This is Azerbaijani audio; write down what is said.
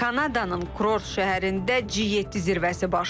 Kanadanın kurort şəhərində G7 zirvəsi başlayır.